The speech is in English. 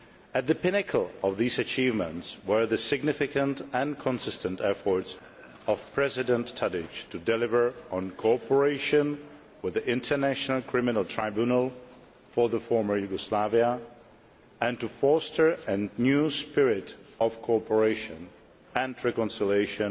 At the pinnacle of these achievements were the significant and consistent efforts of President Tadić to deliver on cooperation with the International Criminal Tribunal for the former Yugoslavia and to foster a new spirit of cooperation and reconciliation